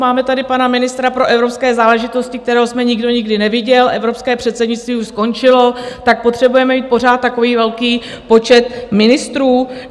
Máme tady pana ministra pro evropské záležitosti, kterého jsme nikdo nikdy neviděl, evropské předsednictví už skončilo, tak potřebujeme mít pořád takový velký počet ministrů?